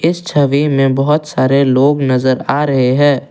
इस छवि में बहोत सारे लोग नजर आ रहे हैं।